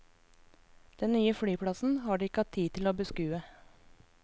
Den nye flyplassen har de ikke hatt tid til å beskue.